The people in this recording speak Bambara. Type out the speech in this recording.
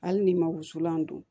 Hali ni ma wusulan don